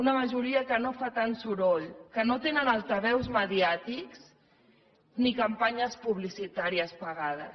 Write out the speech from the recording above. una majoria que no fa tant soroll que no té altaveus mediàtics ni campanyes publicitàries pagades